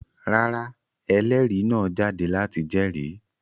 Rárá, ẹlérìí náà jáde láti jẹ́rìí.